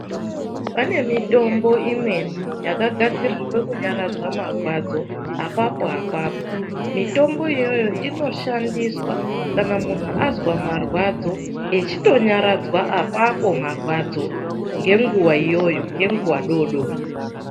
Pane mitombo imweni yakagadzirirwa kunyaradza marwadzo apapo-apapo. Mitombo iyoyo inoshandiswa kana muntu azwa marwadzo achitonyaradzwa apapo marwadzo ngenguva iyoyo, ngenguva doodori.